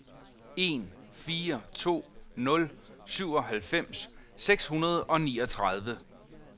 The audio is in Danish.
en fire to nul syvoghalvfems seks hundrede og niogtredive